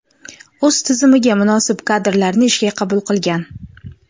o‘z tizimiga munosib kadrlarni ishga qabul qilgan.